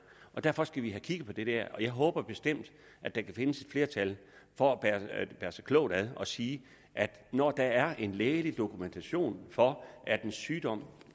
derfor skal vi have kigget på det her og jeg håber bestemt at der kan findes flertal for at bære sig klogt ad og sige at når der er en lægelig dokumentation for at en sygdom